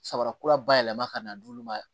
Samarakura bayɛlɛma ka na d'olu ma